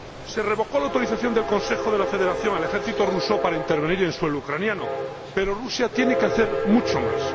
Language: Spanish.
Se revocó la autorización del Consejo de la Federación al ejército ruso para intervenir en suelo ucraniano, pero Rusia tiene que hacer mucho más.